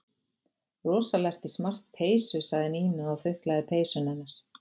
Rosalega ertu í smart peysu sagði Nína og þuklaði peysuna hennar.